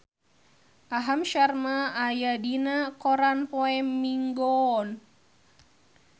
Aham Sharma aya dina koran poe Minggon